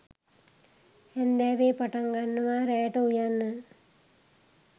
හැන්දෑවෙ පටංගන්නව රෑට උයන්න